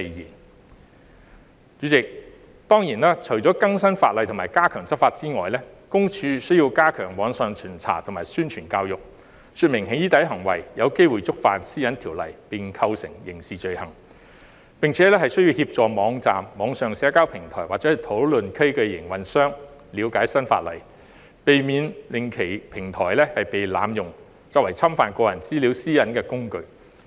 代理主席，當然，除更新法例及加強執法外，私隱公署亦須加強網上巡查及宣傳教育，說明"起底"行為有機會觸犯《私隱條例》並構成刑事罪行，並且需要協助網站、網上社交平台或討論區的營運商了解新法例，避免其平台被濫用作為侵犯個人資料私隱的工具。